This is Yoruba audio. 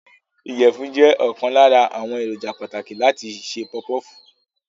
Ìyẹ̀fun jẹ́ ọ̀kan lára àwọn èròjà pàtàkì láti se puff puff.